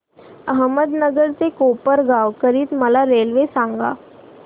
अहमदनगर ते कोपरगाव करीता मला रेल्वे सांगा